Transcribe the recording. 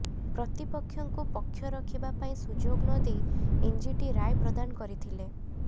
ପ୍ରତିପକ୍ଷଙ୍କୁ ପକ୍ଷ ରଖିବା ପାଇଁ ସୁଯୋଗ ନ ଦେଇ ଏନଜିଟି ରାୟ ପ୍ରଦାନ କରିଥିଲେ